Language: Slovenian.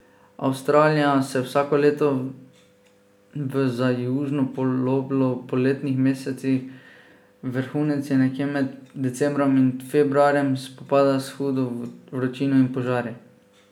Avstralija se vsako leto v za južno poloblo poletnih mesecih, vrhunec je nekje med decembrom in februarjem, spopada s hudo vročino in požari.